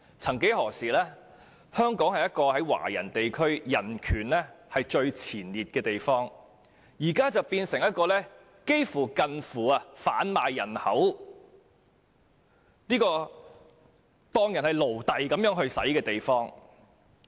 曾幾何時，香港是在華人地區中人權排名居首的地方，現在卻變成一個近乎販賣人口和把人當成奴隸的地方。